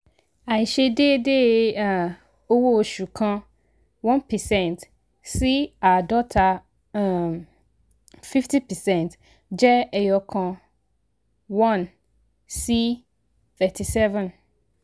àìse déédé um owó oṣù kan one percent sí àádọ́ta um fifty percent jẹ́ ẹyọ̀kan one sí thirty-seven.